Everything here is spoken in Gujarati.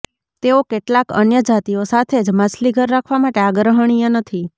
તેઓ કેટલાક અન્ય જાતિઓ સાથે જ માછલીઘર રાખવા માટે આગ્રહણીય નથી